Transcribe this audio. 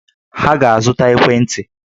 Ha ga-azụta ekwentị!